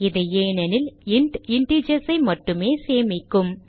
இது ஏனெனில் int integers ஐ மட்டுமே சேமிக்கும்